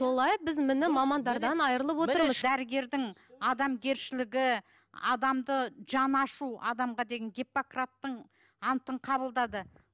солай біз міне мамандардан айрылып отырмыз міне дәрігердің адамгершілігі адамды жан ашу адамға деген гиппократтың антын қабылдады